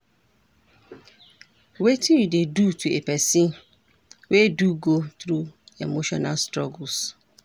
Wetin you dey do to a pesin wey do go through emotional struggles?